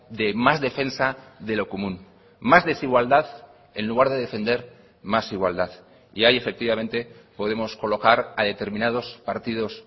de más defensa de lo común más desigualdad en lugar de defender más igualdad y ahí efectivamente podemos colocar a determinados partidos